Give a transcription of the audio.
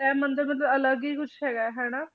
ਇਹ ਮੰਦਿਰ ਮਤਲਬ ਅਲੱਗ ਹੀ ਕੁਛ ਹੈਗਾ ਹੈ ਹਨਾ